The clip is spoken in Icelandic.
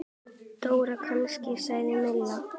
Dóra kannski? sagði Milla.